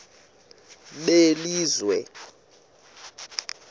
belizwe